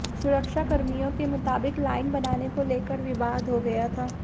सुरक्षाकर्मियों के मुताबिक लाइन बनाने को लेकर विवाद हो गया था